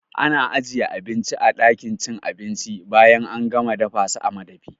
Ana ajiye abinci a ɗakin cin abinci bayan an gama dafasa a madafi